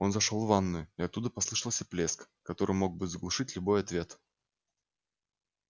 он зашёл в ванную и оттуда послышался плеск который мог бы заглушить любой ответ